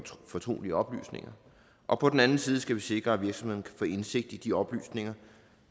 fortrolige oplysninger og på den anden side skal vi sikre at virksomheden kan få indsigt i de oplysninger